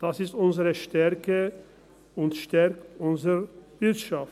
das ist unsere Stärke und stärkt unsere Wirtschaft.